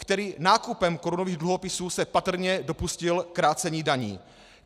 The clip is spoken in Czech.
který nákupem korunových dluhopisů se patrně dopustil krácení daní;